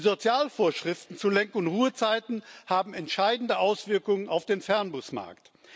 Die Sozialvorschriften zu Lenk und Ruhezeiten haben entscheidende Auswirkungen auf den Fernbusmarkt.